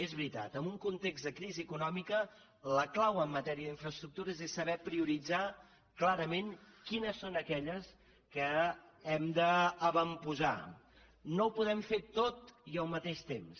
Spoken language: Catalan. és veritat en un context de crisi econòmica la clau en matèria d’infraestructures és saber prioritzar clarament quines són aquelles que hem d’avantposar no ho podem fer tot i al mateix temps